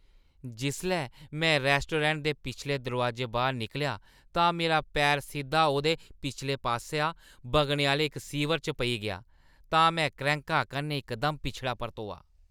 जिसलै में रैस्टोरैंट दे पिछले दरोआजेआ बाह्‌र निकलेआ तां मेरा पैर सिद्धा ओह्दे पिछले पासेआ बगने आह्‌ले इक सीवर च पेई गेआ तां में क्रैंह्का कन्नै इकदम पिछड़ा परतोआ।